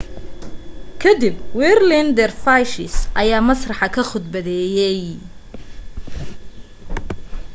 ka dib whirling dervishes ayaa masraxa ka khudbeeyay